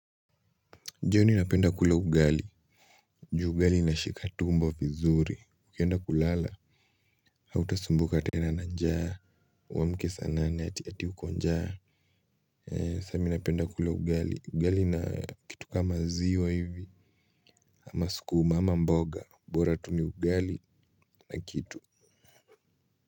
Jioni napenda kula ugali juu ugali inashika tumbo vizuri ukienda kulala hautasumbuka tena na njaa uamke saa nane ati ati uko njaa sasa mimi napenda kula ugali ugali na kitu kama maziwa hivi ama sukuma ama mboga bora tu ni ugali na kitu.